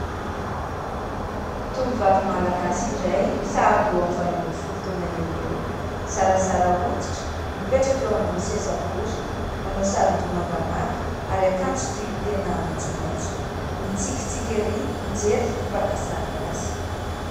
Tovovavy malagasy iray, sahabo eo amin'ny valo ambin'ny folo taona eo ho eo, zarazara hoditra. Mipetraka eo ambony seza bory, manao saron-doha mangamanga ary akanjo toitena maitsomaitso, mitsikitsiky erỳ mijery ity mpaka sary azy.